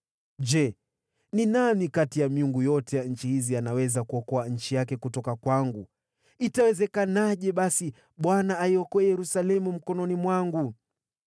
Ni yupi miongoni mwa miungu yote ya nchi hizi ameweza kuokoa nchi yake mkononi mwangu? Inawezekanaje basi Bwana aiokoe Yerusalemu mkononi mwangu?”